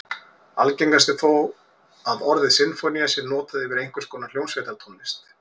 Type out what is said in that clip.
Algengast er þó að orðið sinfónía sé notað yfir einhvers konar hljómsveitartónlist.